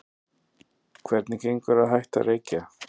Hvernig gengur að hætta að reykja?